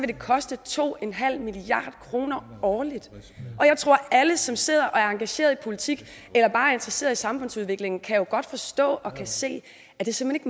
det koste to en halv milliard kroner årligt og jeg tror at alle som sidder og er engageret i politik eller bare er interesseret i samfundsudviklingen jo godt kan forstå og se at det simpelt